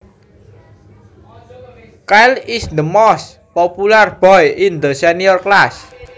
Kyle is the most popular boy in the senior class